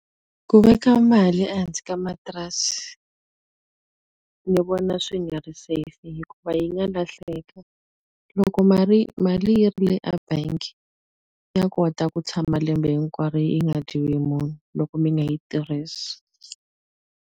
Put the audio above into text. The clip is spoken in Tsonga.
Ku veka mali ehansi ka matirasi ni vona swi nga ri safe hikuva yi nga lahleka. Loko mali yi ri le e bank, ya kota ku tshama lembe hinkwaro yi nga dyiwi hi munhu loko mi nga yi tirhisi.